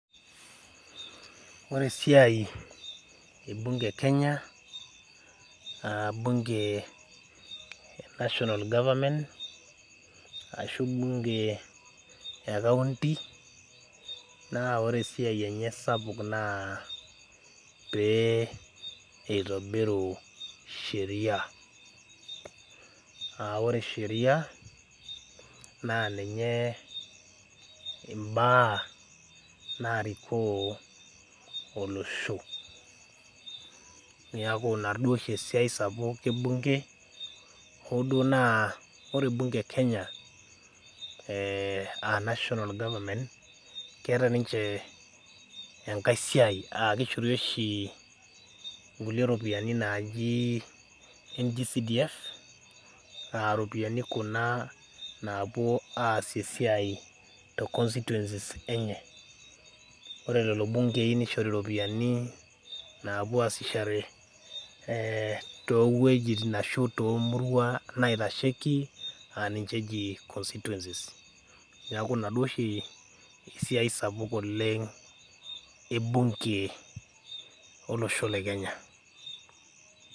Oresiai ebunge e Kenya aah bunge e national government ashu  bunge e county naa ore esiai enye sapuk naa pee eitobiru sheria aah ore sheria naa ninye imbaa naarikoo olosho. Neaku ina duoshi esiai sapuk ebunge hooduo naa ore bunge e kenya [eeh[ [aa] national government[csm keata ninche engai siai aakeishori oshi nkulie ropiani najii NG-CDF aaropiani kuna naapuo aas esiai te constituencies enye. Ore lelo bungei neishori ropiani naapuoasiahore topuejitin ashu toomurua naitasheiki aaninche eji constituencies[c s] neaku ina duo oshi esiai sapuk oleng' ebunge olosho le kenya.